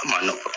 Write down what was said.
A ma nɔgɔn